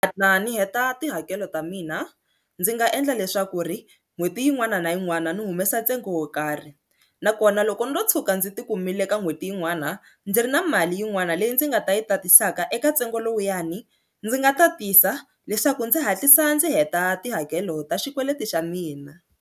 Mina ndzi heta tihakelo ta mina ndzi nga endla leswaku ri n'hweti yin'wana na yin'wana ni humesa ntsengo wo karhi nakona loko ndzo tshuka ndzi ti kumile ka n'hweti yin'wana ndzi ri na mali yin'wana leyi ndzi nga ta yi tatisaka eka ntsengo lowuyani ndzi nga tatisa leswaku ndzi hatlisa ndzi heta tihakelo ta xikweleti xa mina.